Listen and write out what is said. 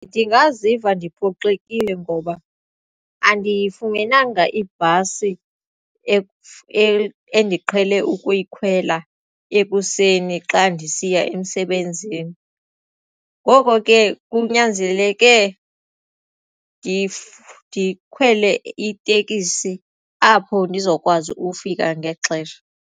Ndingaziva ndiphoxile ngoba andiyifumenanga ibhasi endiqhele ukuyikhwela ekuseni xa ndisiya emsebenzini ngoko ke kunyanzeleke ndikhwele itekisi apho ndizokwazi ukufika ngexesha.